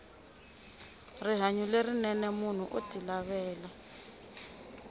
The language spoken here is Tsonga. rihanyo lerinene munhu oti lavela